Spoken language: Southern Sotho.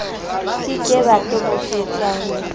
ke ke ba toboketswa ho